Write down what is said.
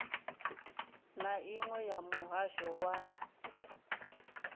na iṅwe ya muhasho wa